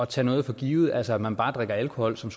tage noget for givet altså man drikker bare alkohol som